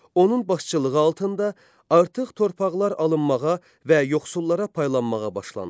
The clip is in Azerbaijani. Onun başçılığı altında artıq torpaqlar alınmağa və yoxsullara paylanmağa başlandı.